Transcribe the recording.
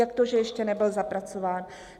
Jak to, že ještě nebyl zapracován?